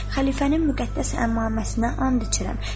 “Xəlifənin müqəddəs əmmaməsinə and içirəm.”